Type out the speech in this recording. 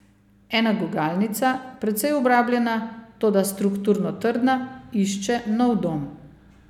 Ena gugalnica, precej obrabljena, toda strukturno trdna, išče nov dom.